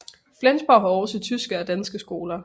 Flensborg har også tyske og danske skoler